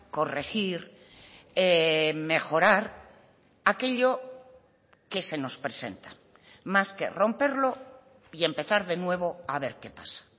corregir mejorar aquello que se nos presenta más que romperlo y empezar de nuevo a ver qué pasa